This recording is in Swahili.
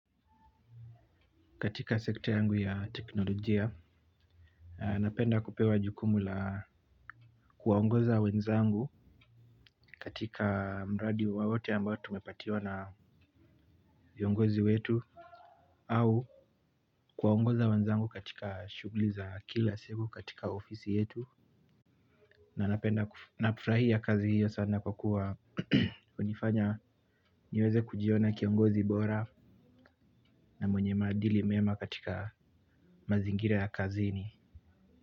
Katika sekta yangu ya teknolojia napenda kupewa jukumu la kuwaongoza wenzangu katika mradi wawote ambayo tumepatiwa na viongozi wetu au kuwaongoza wenzangu katika shuguliza kila siku katika ofisi yetu na nafurahia kazi hiyo sana kwa kuwa unifanya niweweze kujiona kiongozi bora na mwenye madili mema katika mazingira ya kazini.